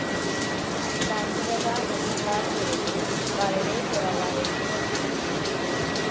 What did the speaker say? സാക്ഷരത മുഷഹാർക്കിടയിൽ വളരെ കുറവായിരുന്നു.